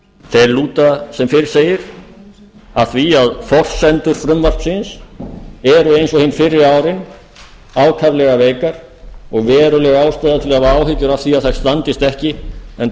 þeir lúta sem fyrr segir að því að forsendur frumvarpsins eru eins og hin fyrri árin ákaflega veikar og veruleg ástæða til að hafa áhyggjur af því að þær standist ekki enda